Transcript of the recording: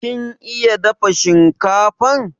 kin iya dafa shinkafan?